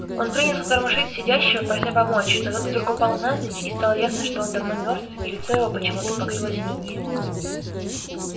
он принялся тормошить сидящего прося помочь но тот вдруг упал навзничь и стало ясно что он давно мёртв и лицо его почему-то покрылось инеем